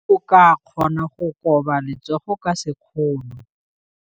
O ka kgona go koba letsogo ka sekgono.